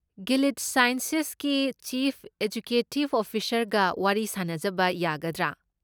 Gilead ꯁꯥꯏꯟꯁꯦꯁꯀꯤ chief ꯑꯦꯛꯖꯤꯀ꯭ꯌꯨꯇꯤꯕ ꯑꯣꯐꯤꯁꯔꯒ ꯋꯥꯔꯤ ꯁꯥꯅꯖꯕ ꯌꯥꯒꯗ꯭ꯔꯥ?